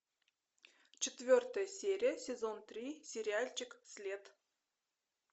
четвертая серия сезон три сериальчик след